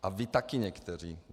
A vy taky někteří.